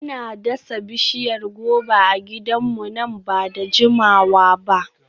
Muna dasa bishiyar goba a gidanmu nan ba da jimawa ba.